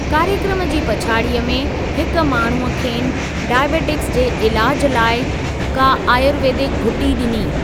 कार्य क्रम जी पछाड़ीअ में हिक माण्हूअ खेनि डाइबेटिक्स जे इलाज़ लाइ का आयुर्वेदिक घुटी ॾिनी।